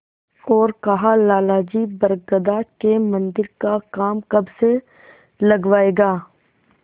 और कहालाला जी बरगदा के मन्दिर का काम कब से लगवाइएगा